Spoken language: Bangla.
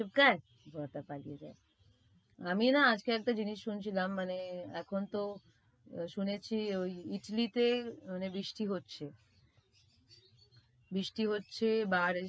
চুপ থাক বরটা পালিয়ে যায়। আমি না আজকে একটা জিনিস শুনছিলাম মানে, এখন তো শুনেছি ওই Italy তে মানে বৃষ্টি হচ্ছে। বৃষ্টি হচ্ছে